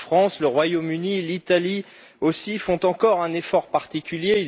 La France, le Royaume Uni, l'Italie aussi, font encore un effort particulier.